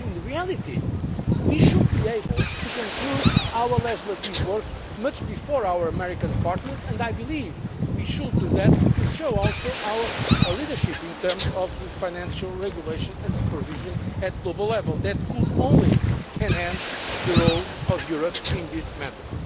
that. But in reality, we should be able to conclude our legislative work long before our American partners and I believe we should do that to show also our leadership in terms of the financial regulation and supervision at the global level. That could only enhance the role of Europe in this